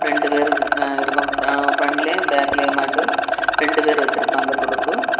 ரெண்டு பேரு நிக்கா இருக்க பிராண்ட் ளையும் பேக் ளையும் மாட்டு ரெண்டு பேரு வெச்சிருப்பாங்க துடுப்பு.